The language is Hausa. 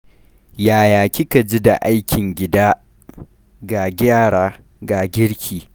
Yaya kika ji da aikin gida? Ga yara, ga girki.